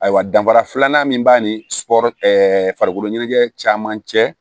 Ayiwa danfara filanan min b'a ni sukɔro ɛɛ farikolo ɲɛnajɛ caman cɛ